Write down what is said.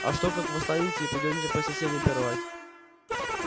а что как восстанете и пойдёте по соседям пировать